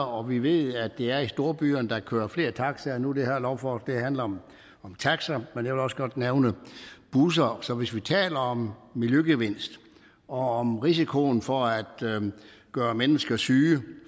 og vi ved at det er i storbyerne der kører flere taxaer nu det her lovforslag handler om taxaer men jeg vil også godt nævne busser så hvis vi taler om miljøgevinst og om risikoen for at gøre mennesker syge og